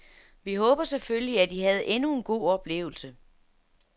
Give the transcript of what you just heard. Vi håber selvfølgelig, at I havde endnu en god oplevelse.